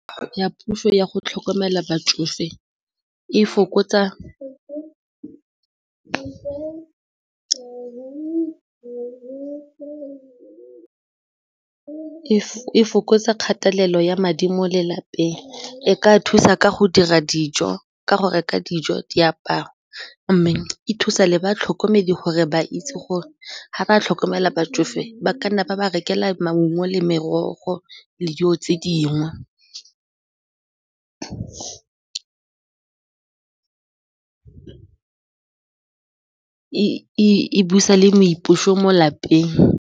Ya puso ya go tlhokomela batsofe e fokotsa kgatelelo ya madi mo lelapeng, e ka thusa ka go dira dijo, ka go reka dijo diaparo mme e thusa le batlhokomedi gore ba itse gore ga ba tlhokomela batsofe ba ka nna ba ba rekela maungo le merogo le dijo tse dingwe e busa le boipuso mo lapeng.